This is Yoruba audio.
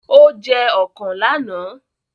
Ó jẹ ọ̀kàn lánàá!